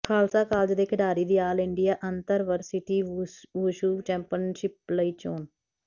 Khalsa college ਦੇ ਖਿਡਾਰੀ ਦੀ all India intervarsity wushu championship ਲਈ ਚੋਣ